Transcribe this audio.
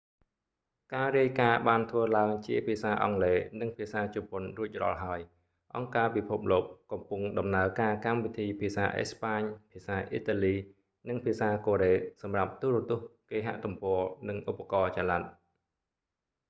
ការរាយការណ៍បានធ្វើឡើងជាភាសាអង់គ្លេសនិងភាសាជប៉ុនរួចរាល់ហើយ អង្គការពិភពលោក កំពុងដំណើរការកម្មវិធីភាសាអេស្ប៉ាញ ភាសាអ៊ីតាលី និងភាសាកូរ៉េសម្រាប់ទូរទស្សន៍ គេហទំព័រ និងឧបករណ៍ចល័ត